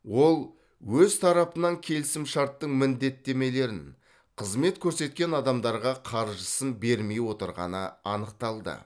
ол өз тарапынан келісімшарттың міндеттемелерін қызмет көрсеткен адамдарға қаржысын бермей отырғаны анықталды